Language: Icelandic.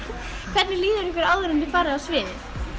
hvernig líður ykkur áður en þið farið á svið